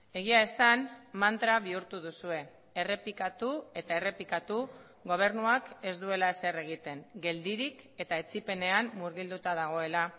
egia esan mantra bihurtu duzue errepikatu eta errepikatu gobernuak ez duela ezer egiten geldirik eta etsipenean murgilduta dagoela